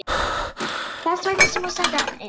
Þess vegna sem hún sendi hana inn.